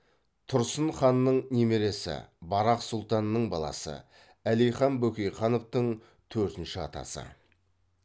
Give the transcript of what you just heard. тұрсын ханның немересі барақ сұлтанның баласы әлихан бөкейхановтың төртінші атасы